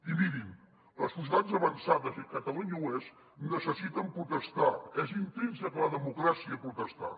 i mirin les societats avançades i catalunya n’és necessiten protestar és intrínsec a la democràcia protestar